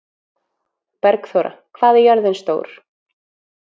Bergþóra, hvað er jörðin stór?